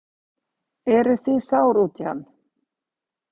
Eruð þið sár út í hann?